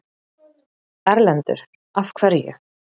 Erlendur: Af hverju?